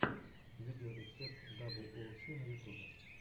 видеорецепт даблю оу си на ютубе